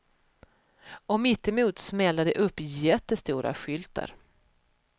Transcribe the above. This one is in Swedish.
Och mittemot smäller de upp jättestora skyltar.